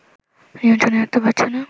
নিয়ন্ত্রনে রাখতে পারছে না